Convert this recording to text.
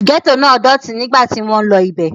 Gẹ́tò náà dọ̀tí nígbà tí wọ́n lọ ibẹ̀.